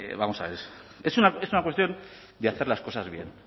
vamos a ver es una cuestión de hacer las cosas bien